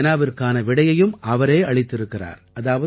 இந்த வினாவிற்கான விடையையும் அவரே அளித்திருக்கிறார்